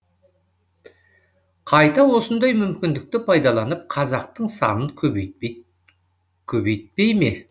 қайта осындай мүмкіндікті пайдаланып қазақтың санын көбейтпей ме